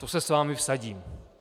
To se s vámi vsadím.